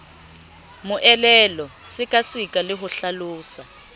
moelelo sekaseka le ho hlalosa